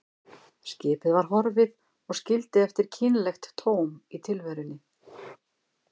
Skipið var horfið og skildi eftir kynlegt tóm í tilverunni.